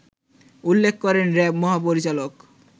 উল্লেখ করেন র‍্যাব মহাপরিচালক